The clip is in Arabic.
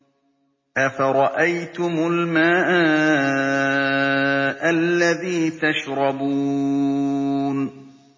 أَفَرَأَيْتُمُ الْمَاءَ الَّذِي تَشْرَبُونَ